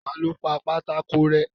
Ta lo pa pátákó rẹ́.